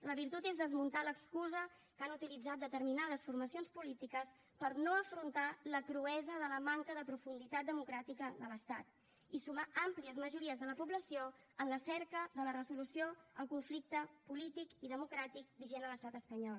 la virtut és desmuntar l’excusa que han utilitzat determinades formacions polítiques per no afrontar la cruesa de la manca de profunditat democràtica de l’estat i sumar àmplies majories de la població en la cerca de la resolució del conflicte polític i democràtic vigent a l’estat espanyol